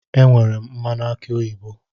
Enwere m mmanụ aki oyibo